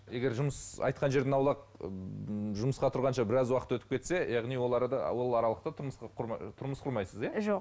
егер жұмыс айтқан жерден аулақ жұмысқа тұрғанша біраз уақыт өтіп кетсе яғни ол арада ол аралықта тұрмыс тұрмыс құрмайсыз иә жоқ